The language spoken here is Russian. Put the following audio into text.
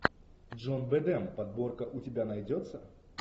джон бэдэм подборка у тебя найдется